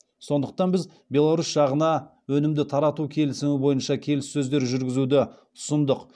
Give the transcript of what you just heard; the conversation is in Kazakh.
сондықтан біз беларусь жағына өнімді тарату келісімі бойынша келіссөздер жүргізуді ұсындық